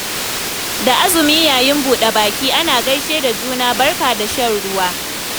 Da azumi yayin buɗa-baki ana gaishe da juna da 'barka da shan ruwa'.